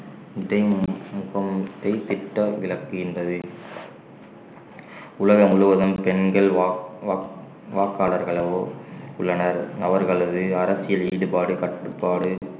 விளக்குகின்றது உலகம் முழுவதும் பெண்கள் வாக்~ வாக்~ வாக்காளர்களாகவோ உள்ளனர் அவர்களது அரசியல் ஈடுபாடு கட்டுப்பாடு